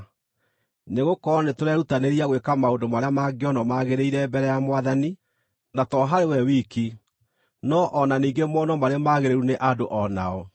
Nĩgũkorwo nĩtũrerutanĩria gwĩka maũndũ marĩa mangĩonwo magĩrĩire mbere ya Mwathani, na to harĩ we wiki, no o na ningĩ monwo marĩ magĩrĩru nĩ andũ o nao.